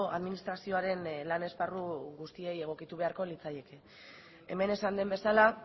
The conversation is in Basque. administrazioaren lan esparru guztiei egokitu beharko litzaieke hemen esan den bezala